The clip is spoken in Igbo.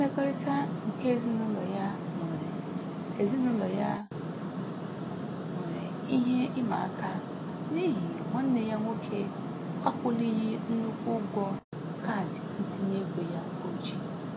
Mmekọrịta nke ezinụlọ ya nwere ezinụlọ ya nwere ihe ịmaaka n'ihi nwanne ya nwoke akwụlighị nnukwu ụgwọ kaadị ntinyeego ya o ji.